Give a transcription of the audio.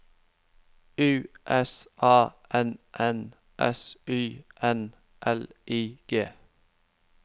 U S A N N S Y N L I G